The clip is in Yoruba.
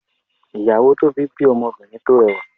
iyawo tobi bí Ọmọbinrin tó rẹwa